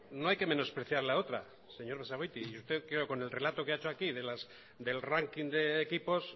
no hay que menospreciar la otra señor basagoiti y usted creo con el relato que ha hecho aquí del ranking de equipos